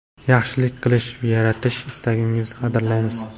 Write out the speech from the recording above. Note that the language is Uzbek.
yaxshilik qilish va yaratish istagingizni qadrlaymiz!.